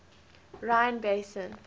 rhine basin